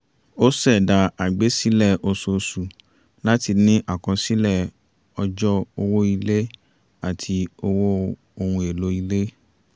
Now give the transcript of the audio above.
ó ṣẹ̀dá àgbésílẹ̀ oṣooṣù láti ní àkọsílẹ̀ ọjọ́ owó ilé àti owó ohun èlò ilé